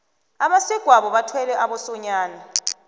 abesegwabo bathwele abosonyana